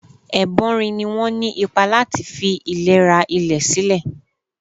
Ẹ̀bọ́nrin ni wọ́n ní ipa lati fi ìlera ilẹ̀ sílẹ̀.